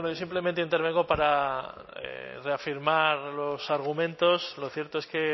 simplemente intervengo para reafirmar los argumentos lo cierto es que